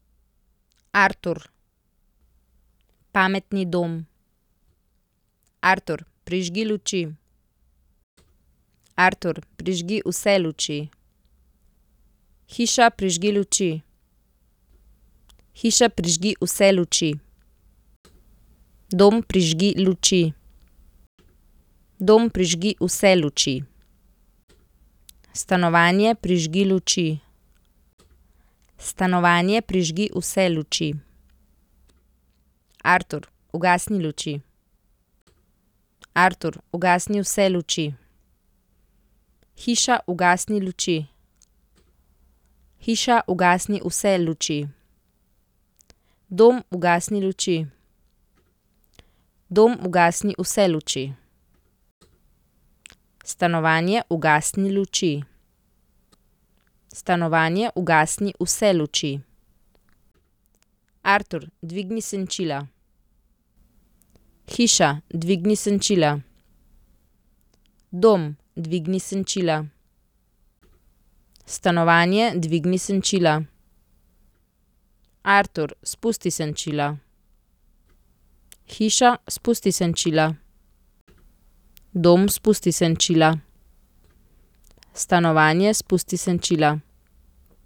Artur. Pametni dom. Artur, prižgi luči. Artur, prižgi vse luči. Hiša, prižgi luči. Hiša, prižgi vse luči. Dom, prižgi luči. Dom, prižgi vse luči. Stanovanje, prižgi luči. Stanovanje, prižgi vse luči. Artur, ugasni luči. Artur, ugasni vse luči. Hiša, ugasni luči. Hiša, ugasni vse luči. Dom, ugasni luči. Dom, ugasni vse luči. Stanovanje, ugasni luči. Stanovanje, ugasni vse luči. Artur, dvigni senčila. Hiša, dvigni senčila. Dom, dvigni senčila. Stanovanje, dvigni senčila. Artur, spusti senčila. Hiša, spusti senčila. Dom, spusti senčila. Stanovanje, spusti senčila.